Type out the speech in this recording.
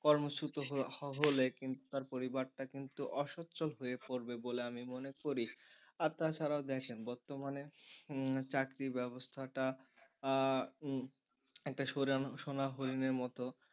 কর্মচ্যুত হলে কিন্তু তার পরিবারটা কিন্তু অসচ্ছল হয়ে পড়বে বলে আমি মনে করি আর তাছাড়া দেখেন বর্তমানে উম চাকরি ব্যবস্থাটা উম একটা সোনার হরিণের মত।